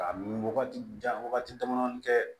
A ni wagati jan wagati damadɔni tɛ